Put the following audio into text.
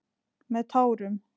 Með tárum.